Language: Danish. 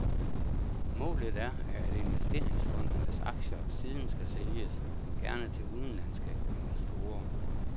Målet er, at investeringsfondenes aktier siden skal sælges, gerne til udenlandske investorer.